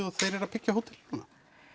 og þeir eru að byggja hótel núna